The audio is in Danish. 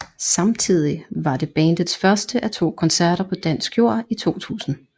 Samtidig var det bandets første af to koncerter på dansk jord i 2000